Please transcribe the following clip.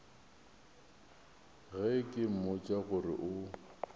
ge ke mmotša gore o